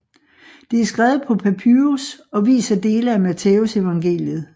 Det er skrevet på papyrus og viser dele af Mattæusevangeliet